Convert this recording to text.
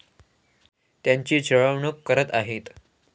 त्यांची छळवणूक करत आहेत.